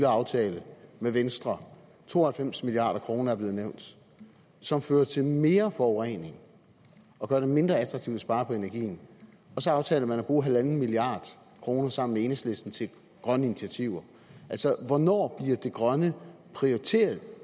aftale med venstre to og halvfems milliard kroner er blevet nævnt som fører til mere forurening og gør det mindre attraktivt at spare på energien og så aftaler man at bruge en milliard kroner sammen med enhedslisten til grønne initiativer altså hvornår bliver det grønne prioriteret